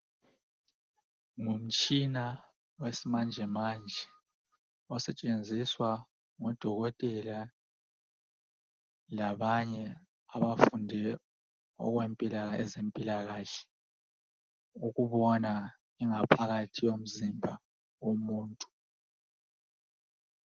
Ngumtshina wesimanje manje osetshenziswa ngodokotela labanye abafunde okwezempilakahle ukubona ingaphakathi yomzimba womuntu